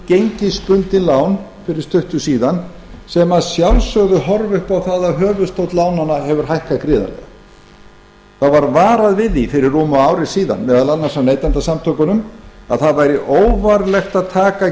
gengisbundin lán fyrir stuttu síðan sem að sjálfsögðu horfa upp það að höfuðstóll lánanna hefur hækkað gríðarlega það var varað við því fyrir rúmu ári síðan meðal annars af neytendasamtökunum að það væri óvarlegt að taka